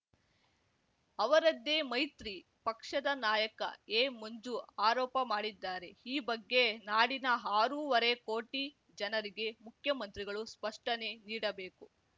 ಅವರದ್ದೇ ಮೈತ್ರಿ ಪಕ್ಷದ ನಾಯಕ ಎಮಂಜು ಆರೋಪ ಮಾಡಿದ್ದಾರೆ ಈ ಬಗ್ಗೆ ನಾಡಿನ ಆರೂವರೆ ಕೋಟಿ ಜನರಿಗೆ ಮುಖ್ಯಮಂತ್ರಿಗಳು ಸ್ಪಷ್ಟನೆ ನೀಡಬೇಕು